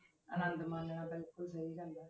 ਅਨੰਦ ਮਾਨਣਾ ਬਿਲਕੁਲ ਸਹੀ ਗੱਲ ਹੈ।